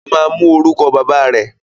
Ó ma mú orúkọ bàbá rẹ̀.